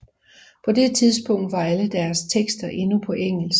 På det tidspunkt var alle deres tekster endnu på engelsk